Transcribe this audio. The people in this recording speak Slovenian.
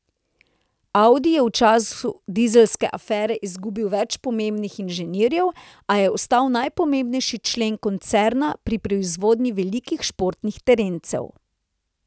Audi je v času dizelske afere izgubil več pomembnih inženirjev, a je ostal najpomembnejši člen koncerna pri proizvodnji velikih športnih terencev.